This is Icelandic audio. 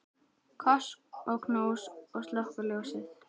Koss og knús og slökkva ljósið.